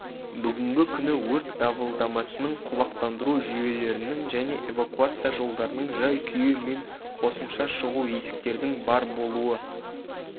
бүгінгі күні өрт дабылдамасының құлақтандыру жүйелерінің және эвакуация жолдарының жай-күйі мен қосымша шығу есіктердің бар болуы